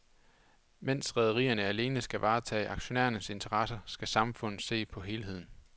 Mens rederierne alene skal varetage aktionærernes interesser, skal samfundet se på helheden.